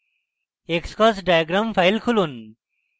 xcos diagram file খুলুন